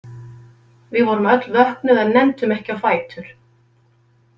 Við vorum öll vöknuð en nenntum ekki á fætur.